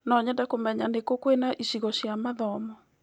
No nyende kũmenya nĩ kũ kwĩna icigo cia mathomo.